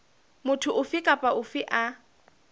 motho ofe kapa ofe a